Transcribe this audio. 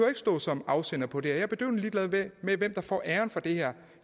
at stå som afsender på det her jeg er bedøvende ligeglad med hvem der får æren for det her